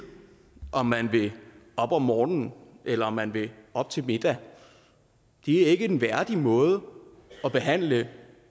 om man vil op om morgenen eller man vil op til middag det er ikke en værdig måde at behandle